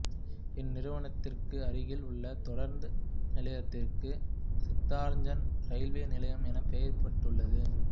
இந்நிறுவனத்திற்கு அருகில் உள்ள தொடருந்து நிலையத்திற்கு சித்தரஞ்சன் இரயிவே நிலையம் எனப் பெயரிடப்பட்டுள்ளது